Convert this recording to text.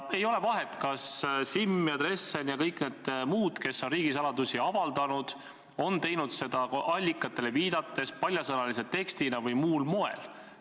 Ei ole vahet, kas Simm, Dressen või kõik need muud, kes on riigisaladusi avaldanud, on teinud seda allikatele viidates, paljasõnalise tekstina või muul moel.